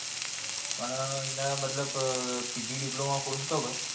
પણ એને મતલબ pg diploma પૂરો હતો કે.